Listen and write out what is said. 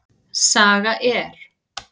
Saga er.